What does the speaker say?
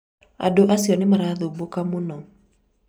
andũ acio nĩ marathubũka mũno